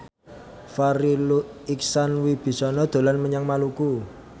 Farri Icksan Wibisana dolan menyang Maluku